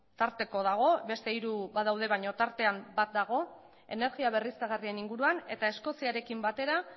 tarteko dago beste hiru badaude baina tartean bat dago energia berriztagarrien inguruan eta eskoziarekin batera